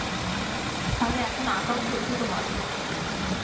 তাহলে এখন আঁকাও চলছে তোমার?